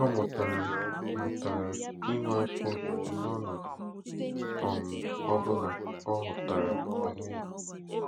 Ọ mụtara mụtara inwe afọ ojuju n'ọnọdụ um ọ bụla ọ hụtara onwe ya.